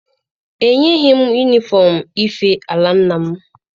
Ha enyeghị m yunifọm ife ala nna m.